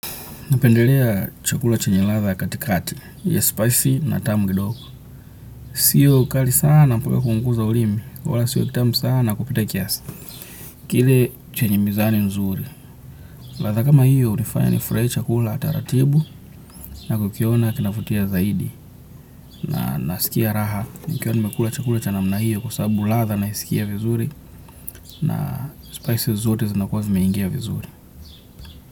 Napendelea chakula chenye ladha katikati, ya spicy na tamu kidogo. Siyo kali sana mpwwe kuhungu za ulimi, kwa wala siyo kitamu sana kupita kiasi. Kile chenye mizani nzuri, latha kama hiyo unifanya ni frahie chakula taratibu na kukiona kinafutia zaidi. Na nasikia raha, nikiwa nimekula chakula chana mna hiyo kwa sabu latha na isikia vizuri na spices zote zinakua zimeingia vizuri.